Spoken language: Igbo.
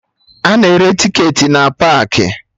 Ana ere tiketi n paakị